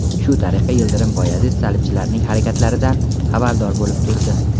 Shu tariqa Yildirim Boyazid salibchilarning harakatlaridan xabardor bo‘lib turdi.